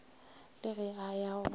le ge a ya go